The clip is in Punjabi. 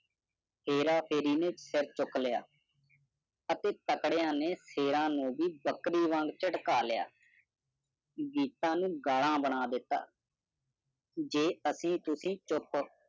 ਸਰ ਚੁੱਕ ਲਿਆ ਅਤੇ ਤਕੜਿਆਂ ਨੇ ਸ਼ੇਰਾ ਨੂੰ ਵੀ ਬੱਕਰੀ ਵਾਂਗ ਚੰਡਕਾ ਲਿਆ। ਗੀਤਾਂ ਨੂੰ ਗਾਲ੍ਹਾਂ ਬਣਾ ਦਿਤਾ। ਜੇ ਐਸੀ ਤੁਸੀਂ ਚੁੱਪ